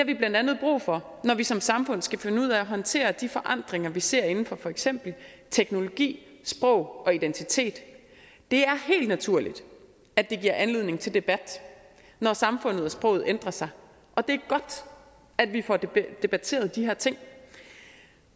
vi blandt andet brug for når vi som samfund skal finde ud af at håndtere de forandringer vi ser inden for for eksempel teknologi sprog og identitet det er helt naturligt at det giver anledning til debat når samfundet og sproget ændrer sig og det godt at vi får debatteret de her ting